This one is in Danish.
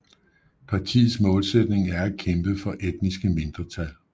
Partiets målsætning er at kæmpe for etniske mindretal